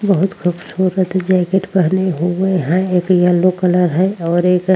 बहुत खूबसूरत जैकेट पहने हुए हैं एक येल्लो कलर हैं और एक --